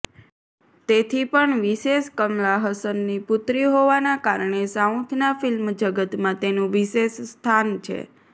તેથી પણ વિશેષ કમલા હસનની પુત્રી હોવાના કારણે સાઉથના ફિલ્મ જગતમાં તેનું વિશેષ સ્થાન છે